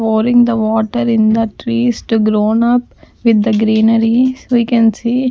pouring the water in the trees to grown up with the greenery we can see--